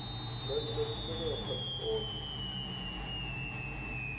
nga ita khumbelo ya phasipoto